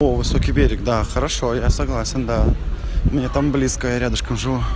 о высокий берег да хорошо я согласен да мне там близко я рядышком живу